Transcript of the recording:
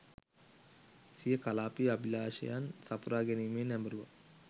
සිය කලාපීය අභිලාෂයන් සපුරා ගැනීමේ නැඹුරුවක්